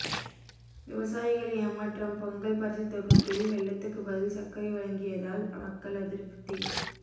விவசாயிகள் ஏமாற்றம் பொங்கல் பரிசுதொகுப்பில் வெல்லத்துக்கு பதில் சர்க்கரை வழங்கியதால் மக்கள் அதிருப்தி